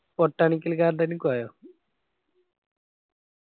botanical garden നി പോയോ?